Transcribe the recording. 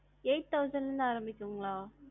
eight thousand ல இருந்து ஆரம்பிக்கும்களா?